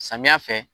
Samiya fɛ